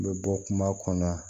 N bɛ bɔ kuma kɔnɔ